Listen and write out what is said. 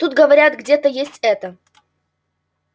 тут говорят где-то есть это